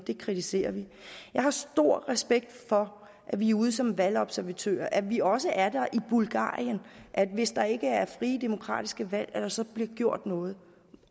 vi kritiserer det jeg har stor respekt for at vi er ude som valgobservatører at vi også er der i bulgarien og at der hvis der ikke er frie demokratiske valg bliver gjort noget